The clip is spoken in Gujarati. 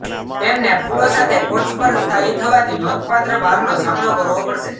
તેમને ફૂલો સાથે પોટ્સ પર સ્થાયી થવાથી નોંધપાત્ર ભારનો સામનો કરવો પડશે